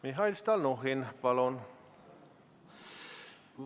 Mihhail Stalnuhhin, palun!